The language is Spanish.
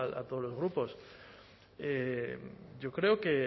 a todos los grupos yo creo que